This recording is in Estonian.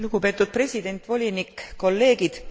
Lugupeetud president, volinik, kolleegid.